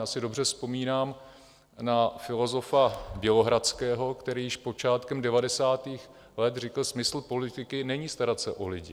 Já si dobře vzpomínám na filozofa Bělohradského, který již počátkem devadesátých let řekl: smysl politiky není starat se o lidi.